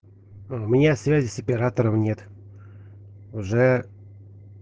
у меня связи с оператором нет уже